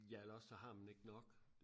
ja eller også så har man ikke nok